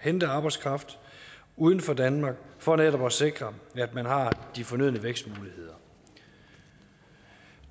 hente arbejdskraft uden for danmark for netop at sikre at man har de fornødne vækstmuligheder